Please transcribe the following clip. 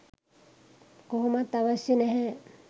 කොහොමත් අවශ්‍ය නැහැ.